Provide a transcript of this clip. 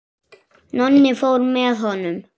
Nonni fór með honum.